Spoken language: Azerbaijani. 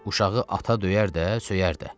Uşağı ata döyər də, söyər də.